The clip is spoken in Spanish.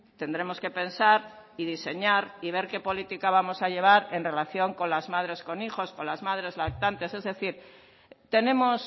tendremos que pensar y diseñar y ver qué política vamos a llevar en relación con las madres con hijos con las madres lactantes es decir tenemos